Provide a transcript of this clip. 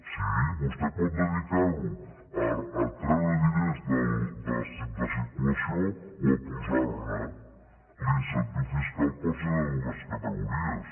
sí vostè pot dedicarho a treure diners de circulació o a posarne l’incentiu fiscal pot ser de dues categories